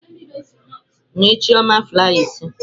Nye chioma flaiya ise.